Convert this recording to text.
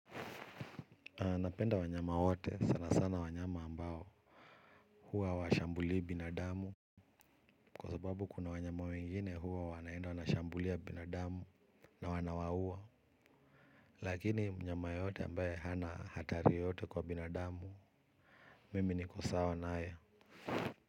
Aa napenda wanyama wote sana sana wanyama ambao huwa hawashambuli binadamu. Kwa sababu kuna wanyama wengine huwa wanaenda wanashambulia binadamu na wanawaua. Lakini mnyama yoyote ambaye hana hatari yoyote kwa binadamu mimi niko sawa naye.